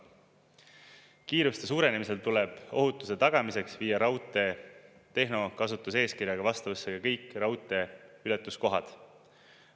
Kiiruste suurenemisel tuleb ohutuse tagamiseks viia raudtee tehnokasutuseeskirjaga vastavusse kõik raudteeületuskohad.